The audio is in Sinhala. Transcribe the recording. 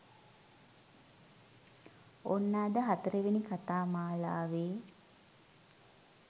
ඔන්න අද හතරවෙනි කතාමාලාවේ